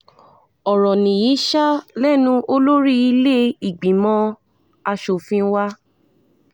ọ̀rọ̀ nìyí ṣáá lẹ́nu olórí ilé-ìgbìmọ̀ asòfin wa